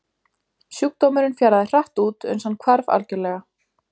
Sjúkdómurinn fjaraði hratt út uns hann hvarf algjörlega.